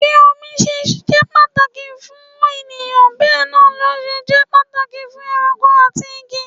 Bí omi ṣe jẹ́ ohun pàtàkì fún ènìyàn bẹ náà lọ ṣe jẹ́ pàtàkì fún ẹranko àti igi.